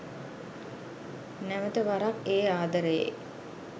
නැවත වරක් ඒ ආදරයේ